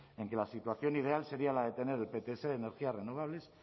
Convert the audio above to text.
en que la situación ideal sería la de tener el pts de energías renovables